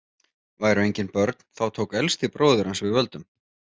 Væru engin börn þá tók elsti bróðir hans við völdum.